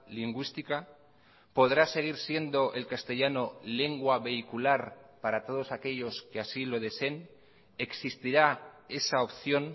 lingüística podrá seguir siendo el castellano lengua vehicular para todos aquellos que así lo deseen existirá esa opción